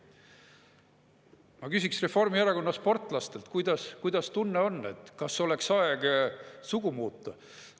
Ma küsiksin Reformierakonna sportlastelt: kuidas tunne on, kas oleks aeg sugu muuta?